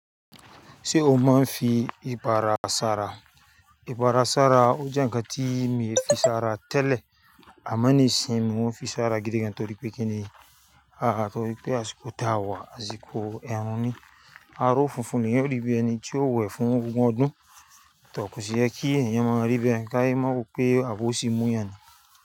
Ṣé o mọ̀ n fi ipara sara? Ipara sara, ó jẹ́ ǹkan tí mi ń fi sara tẹ́lẹ̀, àmo níìsín mọ́n n fi sara gídígan torí pé kí ni, torí pé a sì kò táwà, a sì kò ẹ́run ní. Aró funfun ni yóò rí bí ẹni tí ó wẹ̀ fún ogún ọdún, tọkú si ẹ kí ènìyàn máa rí bẹ́ẹ̀ káì máa mọ̀ pé àbó sì mú yẹn.